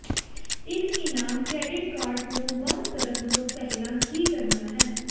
ਇੱਕ ਇਨਾਮ credit card ਨੂੰ ਬੰਦ ਕਰਨ ਤੋਂ ਪਹਿਲਾਂ ਕੀ ਕਰਨਾ ਹੈ